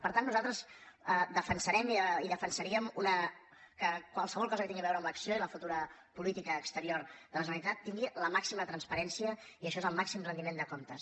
per tant nosaltres defensarem i defensaríem que qualsevol cosa que tingui a veure amb l’acció i la futura política exterior de la generalitat tingui la màxima transparència i això és el màxim retiment de comptes